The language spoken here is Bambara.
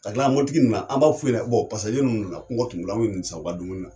Ka kila mɔbilitigi na an b'a f'u ɲɛnɛ bɔn pasaje ninnu nana ko wari t'u bolo an ninnu san u ka dumuni na